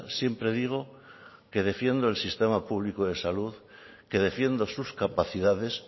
siempre digo que defiendo el sistema público de salud que defiendo sus capacidades